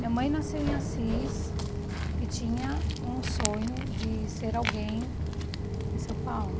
Minha mãe nasceu em Assis e tinha um sonho de ser alguém em São Paulo.